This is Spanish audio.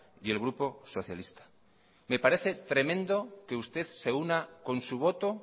y el grupo socialista me parece tremendo que usted se una con su voto